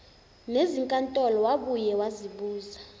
nezinkantolo wabuye wasibuza